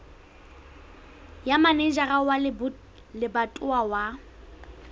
ya manejara wa lebatowa wa